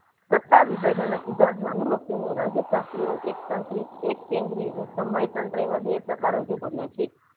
સત્તા વિભાજનો સુધારવા એનું લક્ષી ને રાજ્ય પ્રાપ્તિ એક કેન્દ્રી અને સમય કાંટાવા બે પ્રકાર રજુ કાર્ય છે.